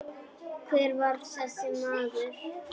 Hver var þessi maður?